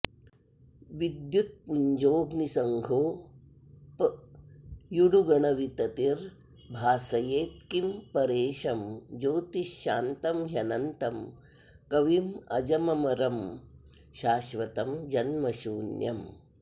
विद्युत्पुञ्जोऽग्निसंघोऽप्युडुगणविततिर्भासयेत्किं परेशं ज्योतिः शान्तं ह्यनन्तं कविमजममरं शाश्वतं जन्मशून्यम्